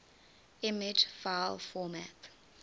image file format